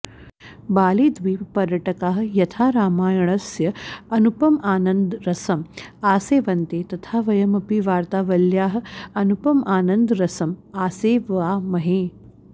बालीद्विपपर्यटकाः यथा रामायणस्य अनुपमानन्दरसम् आसेवन्ते तथा वयम् अपि वार्तावल्याः अनुपमानन्दरसम् आसेवामहे